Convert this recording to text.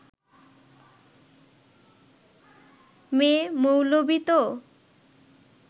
মেয়ে-মৌলবি তো